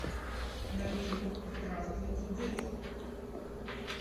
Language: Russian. найти здравствуйте дети